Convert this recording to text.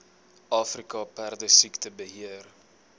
afrika perdesiekte beheer